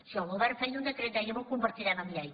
si el govern feia un decret dèiem ho convertirem en llei